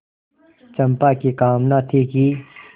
चंपा की कामना थी कि